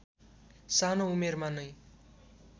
सानो उमेरमा नै